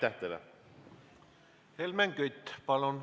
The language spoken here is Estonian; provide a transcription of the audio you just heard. Helmen Kütt, palun!